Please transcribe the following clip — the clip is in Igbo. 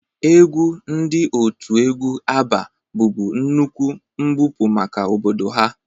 Egwu ndị otu egwu Abba bụbu nnukwu mbupụ maka obodo ha